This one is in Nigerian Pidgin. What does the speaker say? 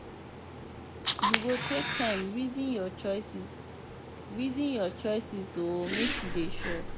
you go take time resin your choices resin your choices o make you dey sure.